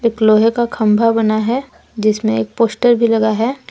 लोहे का खम्भा बना है जिसमें एक पोस्टर भी लगा है।